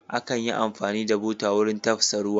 Akan yi amfani da buta wurin tafsa ruwa.